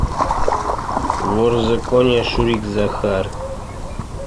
вор в законе шурик захар